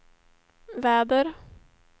väder